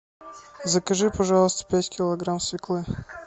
закажи пожалуйста пять килограмм свеклы